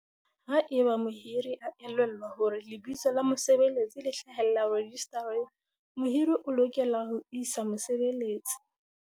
"Haeba mohiri a elellwa hore lebitso la mosebeletsi le hlahellla rejistareng, mohiri o lokela ho isa mosebeletsi"